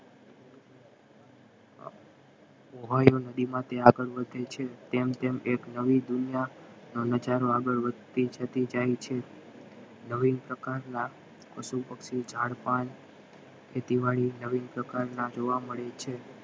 નદીમાં ત્યાં આગળ વધે છે ટેમ ટેમ એક નવી દુનિયા નઝારો વધતી જતી જાય છે નવીન પ્રકારના પશુ પક્ષીઓ ઝાડ પાન ખેતીવાડી નવીન પ્રકારના જોવા મળે છે